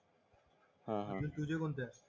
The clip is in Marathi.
हा हा